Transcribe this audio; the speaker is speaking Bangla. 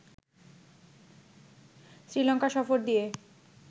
শ্রীলঙ্কা সফর দিয়ে